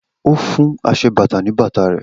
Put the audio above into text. O fún aṣebàtà ní bàtà rẹ̀